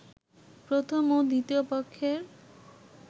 প্রথম ও দ্বিতীয় পক্ষের